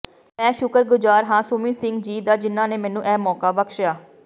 ਮੈਂ ਸ਼ੁਕਰਗੁਜ਼ਾਰ ਹਾਂ ਸੁਮੀਤ ਸਿੰਘ ਜੀ ਦਾ ਜਿਨ੍ਹਾਂਨੇ ਮੈਨੂੰ ਇਹ ਮੌਕਾ ਬਖਸ਼ਿਆ